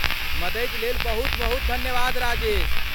मदति लेल बहुत बहुत धन्यवाद राजेश।